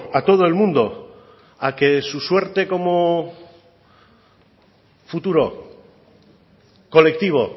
a todo el mundo a que su suerte como futuro colectivo